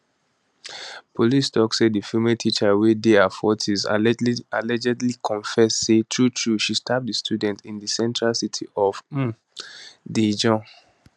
police tok say di female teacher wey dey her 40s allegedly confess say truetrue she stab di student in di central city of um daejeon